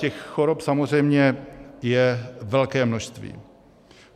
Těch chorob samozřejmě je velké množství.